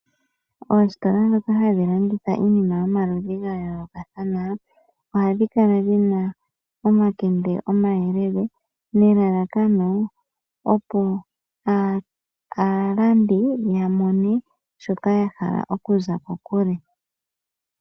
Oositola ndhoka hadhi landitha iinima yayoolokothana ohadhi kala dhina omakende omayelele nelalakano aalandi ya mone shoka ya haka okuza kokule.